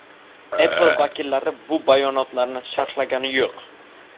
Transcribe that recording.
Apple vakillari bu bayonotlarni sharhlagani yo‘q.